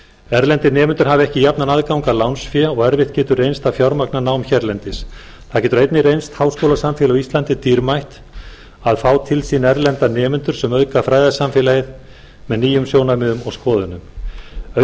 erlendir nemendur hafa ekki jafnan aðgang að lánsfé og erfitt getur reynst að fjármagna nám hérlendis það getur einnig reynst háskólasamfélagi á íslandi dýrmætt að fá til sín erlenda nemendur sem auðga fræðasamfélagið með nýjum sjónarmiðum og skoðunum auk þess